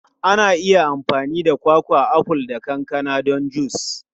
Ana iya amfani da kwakwa, aful, da kankana don jus.